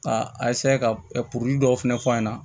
A ka dɔw fɛnɛ fɔ an ɲɛna